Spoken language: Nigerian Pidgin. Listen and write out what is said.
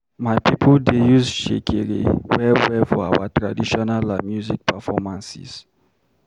My people dey use shekere well well for our traditional music performances.